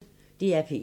DR P1